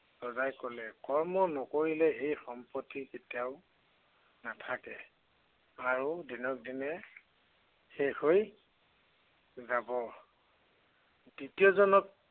ৰজাই কলে, কৰ্ম নকৰিলে সেই সম্পত্তি কেতিয়াও নাথাকে। আৰু দিনক দিনে শেষ হৈ যাব। দ্বিতীয়জনক